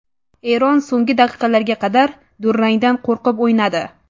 Eron so‘nggi daqiqalarga qadar durangdan qo‘rqib o‘ynadi.